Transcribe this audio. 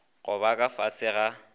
go ba ka fase ga